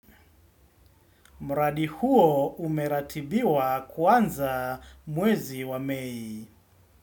Mradi huo umeratibiwa kuanza mwezi wa mei.